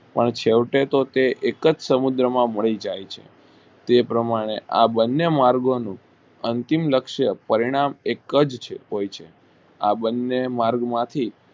અને છેવટે તે એક જ સમુદ્ર માં ભળી જાય છે તે પ્રમાણે આ બંને માર્ગો નું અંતિમ લક્ષય પરિણામ એક જ હોય છે આ બંને માર્ગ માંથી